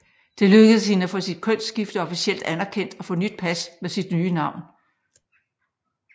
Det lykkedes hende at få sit kønsskifte officielt anerkendt og få nyt pas med sit nye navn